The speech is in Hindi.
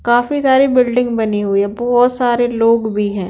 काफी सारी बिल्डिंग बनी हुई है बहुत सारे लोग भी है।